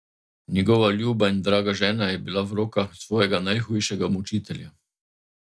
Njegova ljuba in draga žena je bila v rokah svojega najhujšega mučitelja.